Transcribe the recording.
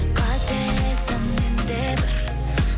қателестім мен де бір